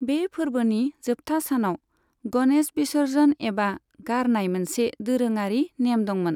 बे फोरबोनि जोबथा सानाव गणेश विसर्जन एबा गारनाय मोनसे दोरोङारि नेम दंमोन।